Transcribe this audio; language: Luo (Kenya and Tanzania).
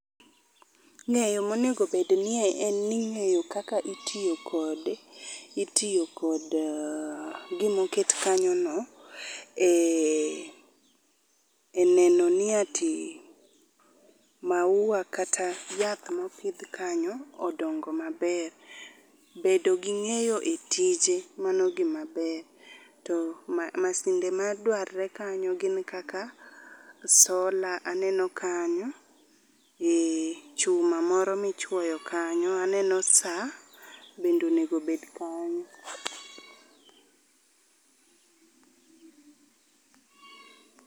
Ng'eyo monegobednie en ni ng'eyo kaka itiyo kod, itiyo kod gimoket kanyono e neno ni ati, maua kata yath mopidh kanyo odongo maber. Bedo gi ng'eyo e tije mano gima ber, to masinde ma dwarre kanyo gin kaka sola aneno kanyo gi chuma moro michwoyo kanyo. Aneno sa bendonego bed kanyo.